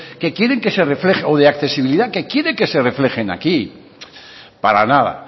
o de accesibilidad que quiere que se reflejen aquí para nada